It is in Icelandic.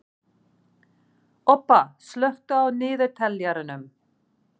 Obba, slökktu á niðurteljaranum.